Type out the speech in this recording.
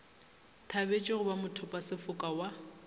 thabetše go ba mothopasefoka wa